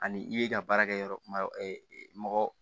Ani i ye ka baarakɛ yɔrɔ kuma mɔgɔ